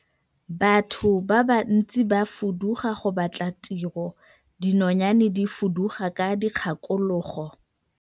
Batho ba bantsi ba fuduga go batla tiro, dinonyane di fuduga ka dikgakologo.